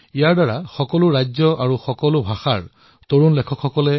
ইয়াৰ দ্বাৰা সকলো ৰাজ্যৰ তথা ভাষাভাষী যুৱ লেখকসকল উৎসাহিত হব